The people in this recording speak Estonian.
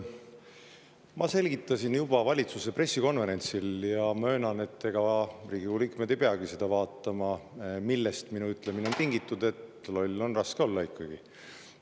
Ma selgitasin juba valitsuse pressikonverentsil – möönan, et Riigikogu liikmed ei peagi seda vaatama –, millest minu ütlemine, et loll on raske olla ikkagi, oli tingitud.